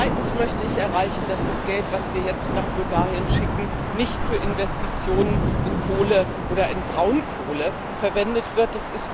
Zweitens möchte ich erreichen, dass das Geld, das wir jetzt nach Bulgarien schicken, nicht für Investitionen in Kohle oder Braunkohle verwendet